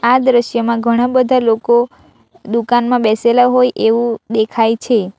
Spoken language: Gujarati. આ દ્રશ્યમાં ઘણા બધા લોકો દુકાનમાં બેસેલા હોય એવું દેખાય છે.